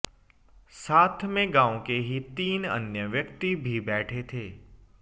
साथ में गांव के ही तीन अन्य व्यक्ति भी बैठे थे